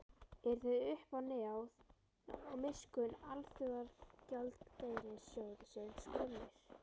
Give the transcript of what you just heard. Eru þeir uppá náð og miskunn Alþjóðagjaldeyrissjóðsins komnir?